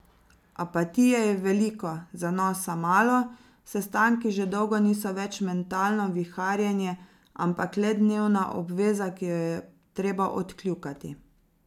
Apatije je veliko, zanosa malo, sestanki že dolgo niso več mentalno viharjenje, ampak le dnevna obveza, ki jo je treba odkljukati.